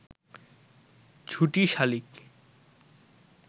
ঝুটি শালিক